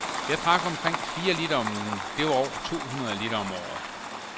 Jeg drak omkring fire liter om ugen, det var over to hundrede liter om året.